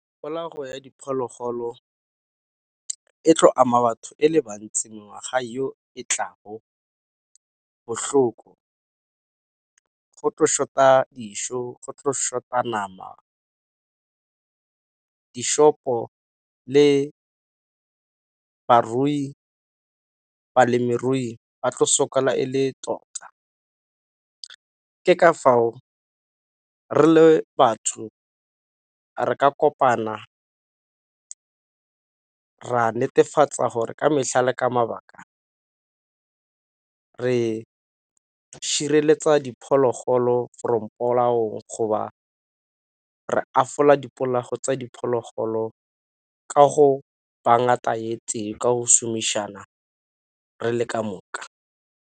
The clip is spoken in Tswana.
ya diphologolo e tlo ama batho e le bantsi ngwaga yo e tla ho bohloko. Go tlo short-a dijo, go tlo short-a nama. Di-shop-o le balemirui ba tlo sokola e le tota. Ke ka fao re le batho re ka kopana ra netefatsa gore ka metlhale ka mabaka re sireletsa diphologolo from polaong re tsa diphologolo ka ngata tee ka ho šomišana re le ka moka.